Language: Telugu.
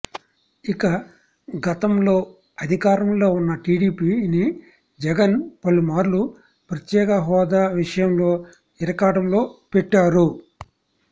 ఇక గతంలో అధికారంలో ఉన్న టీడీపీ ని జగన్ పలుమార్లు ప్రత్యేక హోదా విషయంలో ఇరకాటంలో పెట్టారు